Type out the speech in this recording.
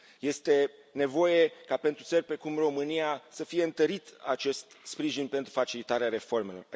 Este nevoie ca, pentru țări precum România, să fie întărit acest sprijin pentru facilitarea reformelor.